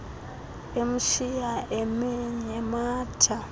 emshiya emi nematha